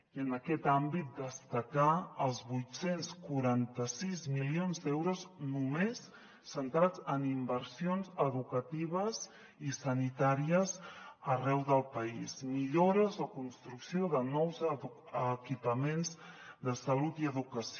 i en aquest àmbit destacar els vuit cents i quaranta sis milions d’euros només centrats en inversions educatives i sanitàries arreu del país millores o construcció de nous equipaments de salut i educació